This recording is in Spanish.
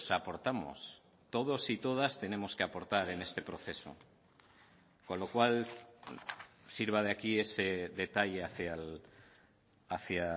aportamos todos y todas tenemos que aportar en este proceso con lo cual sirva de aquí ese detalle hacia